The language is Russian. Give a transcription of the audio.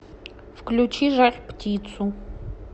включи жар птицу